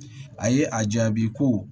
A ye a jaabi ko